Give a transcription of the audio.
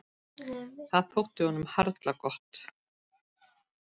Það þótti honum harla gott.